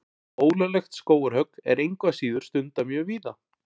Ólöglegt skógarhögg er engu að síður stundað mjög víða.